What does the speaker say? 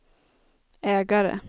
ägare